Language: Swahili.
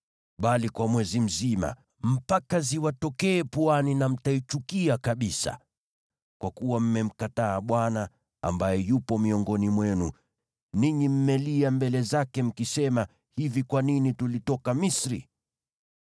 bali kwa mwezi mzima mpaka iwatokee puani, nanyi mtaichukia kabisa, kwa kuwa mmemkataa Bwana , ambaye yupo miongoni mwenu, nanyi mmelia mbele zake, mkisema, “Hivi kwa nini tulitoka Misri?” ’”